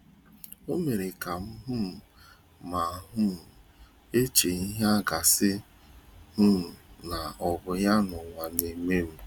O mere kam um ma um eche ihe agasi um na obu ya n'ụwa na eme m